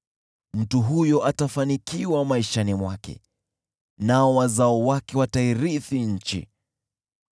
Mtu huyo atafanikiwa maishani mwake, nao wazao wake watairithi nchi.